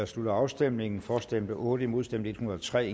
slutter afstemningen for stemte otte imod stemte en hundrede og tre